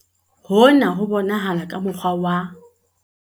Hona ho bonahala ka mo kgwa wa.